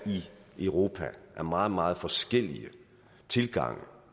i europa er meget meget forskellige tilgange